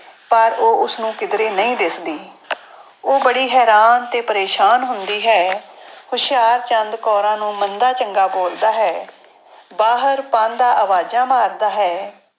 ਪਰ ਉਹ ਉਸਨੂੰ ਕਿੱਧਰੇ ਨਹੀਂ ਦਿਸਦੀ ਉਹ ਬੜੀ ਹੈਰਾਨ ਤੇ ਪਰੇਸਾਨ ਹੁੰਦੀ ਹੈ। ਹੁਸ਼ਿਆਰਚੰਦ ਕੌਰਾਂ ਨੂੰ ਮੰਦਾ ਚੰਗਾ ਬੋਲਦਾ ਹੈ, ਬਾਹਰ ਪਾਂਧਾ ਆਵਾਜ਼ਾਂ ਮਾਰਦਾ ਹੈ।